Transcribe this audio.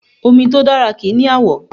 Omi tó dára kì í ni àwọ̀